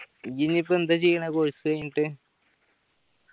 ഇജ്ജ് ഇനിയിപ്പോ എന്താ ചെയ്യണേ course കയ്യിഞ്ഞ്ട്ട്